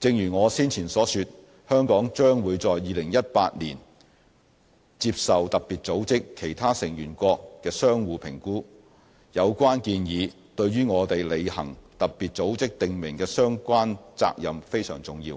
正如我先前所說，香港將會在2018年接受特別組織其他成員國的相互評估，有關建議對於我們履行特別組織訂明的相關責任非常重要，